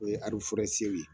O ye ye.